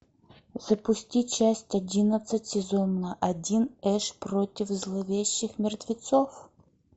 запусти часть одиннадцать сезон один эш против зловещих мертвецов